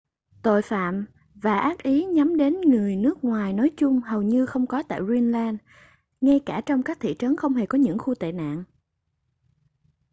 tội phạm và ác ý nhắm đến người nước ngoài nói chung hầu như không có tại greenland ngay cả trong các thị trấn không hề có những khu tệ nạn